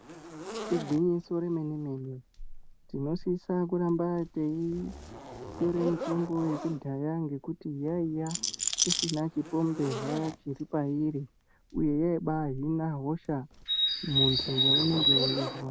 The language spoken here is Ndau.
Igwinyiso re mene mene tino sisa kuramba tei tore mutombo yeku dhaya ngekuti yaiya isina chi pomberwa chiri pairi uye yai bai hina hosha muntu ya unenge weizwa.